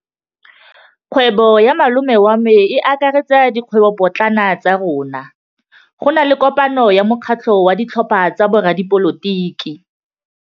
Kgwêbô ya malome wa me e akaretsa dikgwêbôpotlana tsa rona. Go na le kopanô ya mokgatlhô wa ditlhopha tsa boradipolotiki.